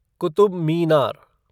Qutub Minar